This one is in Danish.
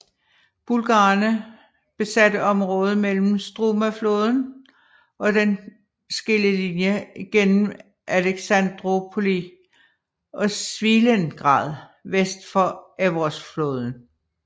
Bulgarerne besatte området mellem Strumafloden og en skillelinje gennem Alexandroupoli og Svilengrad vest for Evrosfloden